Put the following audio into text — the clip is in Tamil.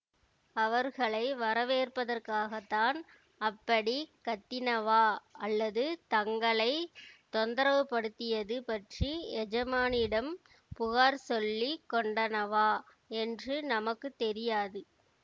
அவர்களை வரவேற்பதற்காகத்தான் அப்படிக் கத்தினவா அல்லது தங்களை தொந்தரவுபடுத்தியது பற்றி எஜமானிடம் புகார் சொல்லி கொண்டனவா என்று நமக்கு தெரியாது